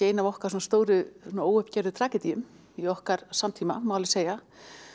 eina af okkar stóru óuppgerðu tragedíum í okkar samtíma má segja